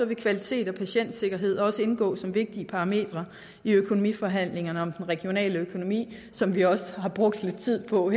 vil kvalitet og patientsikkerhed også indgå som vigtige parametre i økonomiforhandlingerne om den regionale økonomi som vi også har brugt lidt tid på at